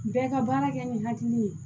Bɛɛ ka baara kɛ ni hakili ye